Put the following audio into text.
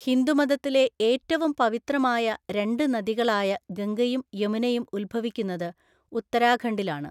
ഹിന്ദുമതത്തിലെ ഏറ്റവും പവിത്രമായ രണ്ട് നദികളായ ഗംഗയും യമുനയും ഉത്ഭവിക്കുന്നത് ഉത്തരാഖണ്ഡിലാണ്.